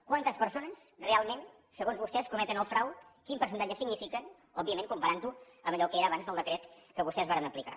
quantes persones realment segons vostès cometen el frau quin percentatge signifiquen òbviament comparant ho amb allò que era abans el decret que vostès varen aplicar